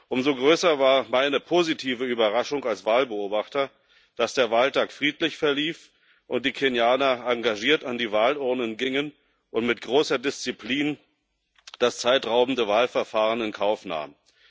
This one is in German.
Umso größer war meine positive Überraschung als Wahlbeobachter, dass der Wahltag friedlich verlief und die Kenianer engagiert an die Wahlurnen gingen und mit großer Disziplin das zeitraubende Wahlverfahren in Kauf nahmen.